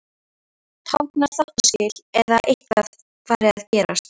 Táknar þáttaskil eða eitthvað fari að gerast.